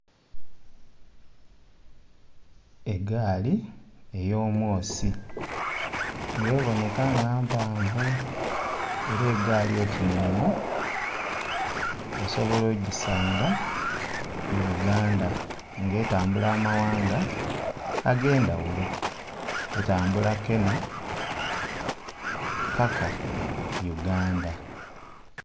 Egaali eyo'mwoosi nga ebonheka nga mpanvu era egaali oti ne'nho, osobola ogisanga mu Uganda nga etambula ama ghanga age'ndhaghulo. Etambula Kenha paka Uganda.